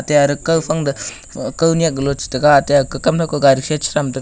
ate are kawphang toh ka kawnyak lo chitaiga ate ake kamnyak garisa chitham taiga.